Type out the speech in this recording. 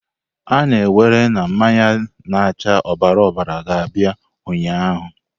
A na-ewere na mmanya na-acha ọbara ọbara ga-abịa ụnyaahụ!